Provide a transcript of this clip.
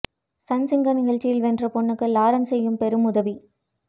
Sun Singer நிகழ்ச்சியில் வென்ற பெண்ணுக்கு லாரன்ஸ் செய்யும் பெரும் உதவி